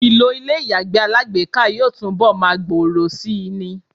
Ìlò ilé ìyàgbẹ́ alágbèéká yóò túnbọl máa gbòòrò síi ni.